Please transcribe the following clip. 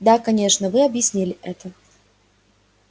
да конечно вы объяснили это